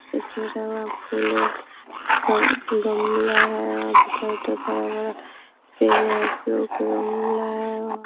उसे घेरा हुआ फूल है ग गमला है वहां पे चारों तरफ हरा-भरा पेड़े हैं फूलों के गमला है वहां।